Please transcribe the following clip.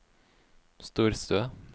storstue